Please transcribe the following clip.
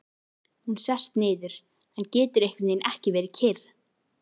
Hún sest niður en getur einhvernveginn ekki verið kyrr.